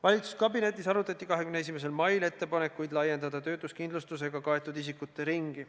Valitsuskabinetis arutati 21. mail ettepanekuid laiendada töötuskindlustusega kaetud isikute ringi.